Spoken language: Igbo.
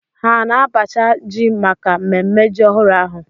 Ha na-abacha ji maka ememme ji ọhụrụ ahụ?